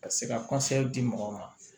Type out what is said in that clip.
Ka se ka di mɔgɔw ma